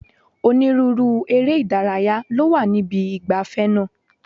Onírúurú eré ìdárayá ló wà níbi ìgbafẹ́ náà.